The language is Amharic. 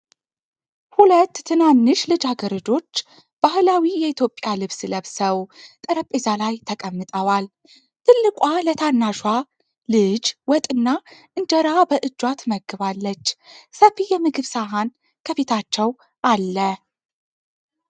ሁለት ትናንሽ ልጃገረዶች ባህላዊ የኢትዮጵያ ልብስ ለብሰው ጠረጴዛ ላይ ተቀምጠዋል። ትልቋ ለታናሽዋ ልጅ ወጥና እንጀራ በእጇ ትመግባለች። ሰፊ የምግብ ሰሃን ከፊታቸው አለ።